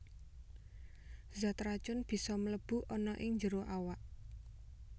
Zat racun bisa mlebu ana ing njero awak